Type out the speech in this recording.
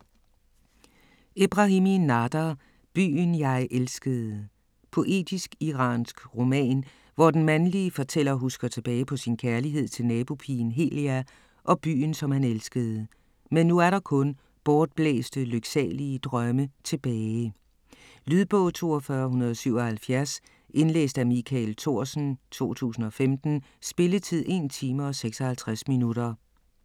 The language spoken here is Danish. Ebrahimi, Nader: Byen jeg elskede Poetisk, iransk roman, hvor den mandlige fortæller husker tilbage på sin kærlighed til nabopigen Helia og byen, som han elskede. Men nu er der kun bortblæste, lyksalige drømme tilbage. Lydbog 42177 Indlæst af Michael Thorsen, 2015. Spilletid: 1 time, 56 minutter.